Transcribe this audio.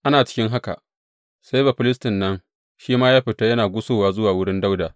Ana ciki haka, sai Bafilistin nan shi ma ya fita yana gusowa zuwa wurin Dawuda.